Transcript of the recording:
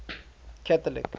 catholic